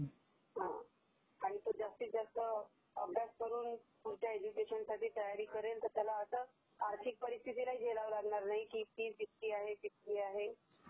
आणि तो जास्तीजास्त अभ्यास करून पुढच्या एज्युकेशनसाठी तयारी करेल तर त्याला आता आर्थिक परिस्थिती नाही झेलावं नाही लागणार Sound not clear